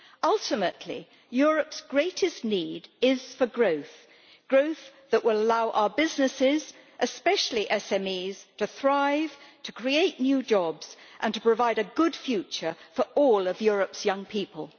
Ultimately, Europe's greatest need is for growth growth that will allow our businesses, especially SMEs, to thrive, to create new jobs and to provide a good future for all of Europe's young people.